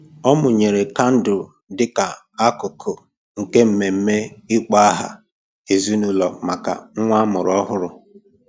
Ọ mụnyere kandụl dịka akụkụ nke mmemme ịkpọ aha ezinụlọ maka nwa amụrụ ọhụrụ.